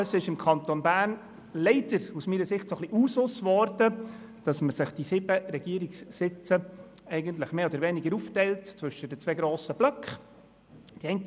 Wie wir alle wissen, ist es im Kanton Bern – aus meiner Sicht leider – ein wenig zum Usus geworden, die sieben Regierungssitze mehr oder weniger zwischen den zwei grossen Blöcken aufzuteilen.